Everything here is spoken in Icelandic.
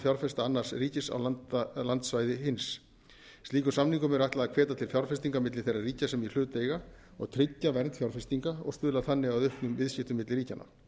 fjárfesta annars ríkis á landsvæði hins slíkum samningum er ætlað að hvetja til fjárfestinga milli þeirra ríkja sem í hlut eiga og tryggja vernd fjárfestinga og stuðla þannig að auknum viðskiptum milli ríkjanna